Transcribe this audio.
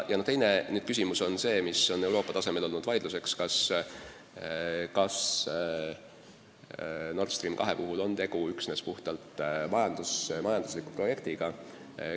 Teine küsimus, mille üle on Euroopa tasemel vaieldud, on, kas Nord Stream 2 puhul on tegu üksnes puhtalt majandusliku projektiga.